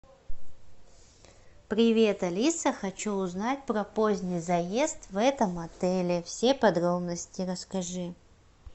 привет алиса хочу узнать про поздний заезд в этом отеле все подробности расскажи